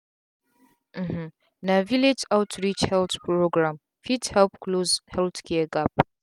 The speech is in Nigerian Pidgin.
um na village outreach health program fit help close healthcare gap.